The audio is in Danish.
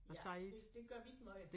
Ja det det gør vi ikke måj